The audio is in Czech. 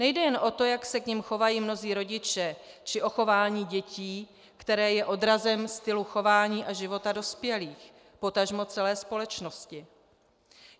Nejde jen o to, jak se k nim chovají mnozí rodiče, či o chování dětí, které je odrazem stylu chování a života dospělých, potažmo celé společnosti.